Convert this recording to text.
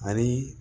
Ali